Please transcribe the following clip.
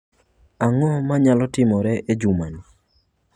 Ang'o manyalo timore e jumani?